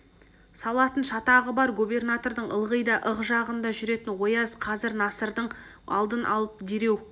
салатын шатағы бар губернатордың ылғи да ық жағында жүретін ояз қазір насырдың алдын алып дереу